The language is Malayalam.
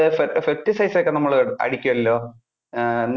pesti~ pesticides ഒക്കെ നമ്മള് അടിക്കുമല്ലോ? അഹ്